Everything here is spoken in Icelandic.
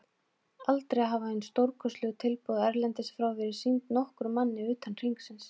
Aldrei hafa hin stórkostlegu tilboð erlendis frá verið sýnd nokkrum manni utan hringsins.